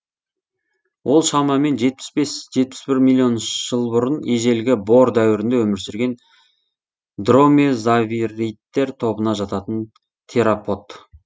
ол шамамен жетпіс бес жетпіс бір миллион жыл бұрын ежелгі бор дәуірінде өмір сүрген дромеозавридтер тобына жататын теропод